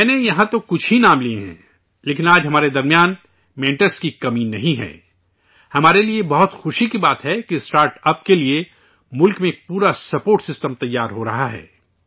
میں نے یہاں تو کچھ ہی نام لئے ہیں، لیکن آج ہمارے بیچ مینٹرز کی کمی نہیں ہے ، ہمارے لئے یہ بہت خوشی کی بات ہے کہ اسٹارٹاپس کے لئے آج ملک میں ایک پورا سپورٹ سسٹم تیار ہورہا ہے